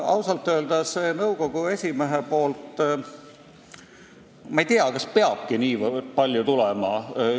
Ausalt öelda ma ei tea, kas see kriitika peabki niivõrd palju tulema nõukogu esimehelt.